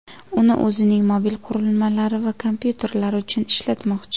Uni o‘zining mobil qurilmalari va kompyuterlari uchun ishlatmoqchi.